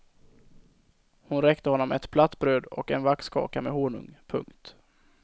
Hon räckte honom ett platt bröd och en vaxkaka med honung. punkt